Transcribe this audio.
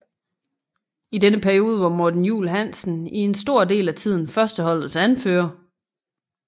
I denne periode var Morten Juul Hansen i en stor del af tiden førsteholdets anfører